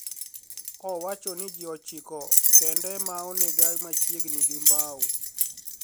Owacho ni ji ochiko kende ema onega machiegni gi Mbau.